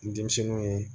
N denmisɛnninw ye